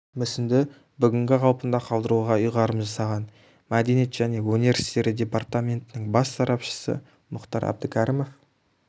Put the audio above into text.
мүсінді бүгінгі қалпында қалдыруға ұйғарым жасаған мәдениет және өнер істері департаментінің бас сарапшысы мұхтар әбдікәрімов